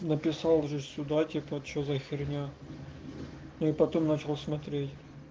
написал же сюда типа что за хуйня ну и потом начал смотреть